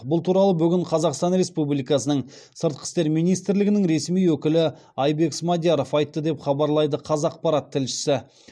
бұл туралы бүгін қазақстан республикасының сыртқы істер министрлігінің ресми өкілі айбек смадияров айтты деп хабарлайды қазақпарат тілшісі